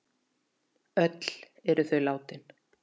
Öll eru þau látin.